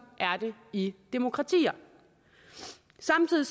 er det i demokratier samtidig